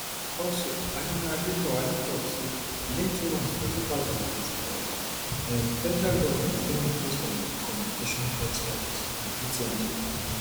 also adunadebowale tok say within two month for two thousand and twenty-five um federal goment don increase telecommunication port charges and atm charges